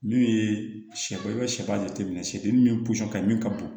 N'u ye sɛ i bɛ sɛfan jateminɛ shɛtɛ min ye ka min ka bon